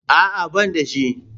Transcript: A'a, ban da shi.